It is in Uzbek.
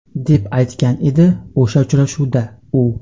deb aytgan edi o‘sha uchrashuvda u.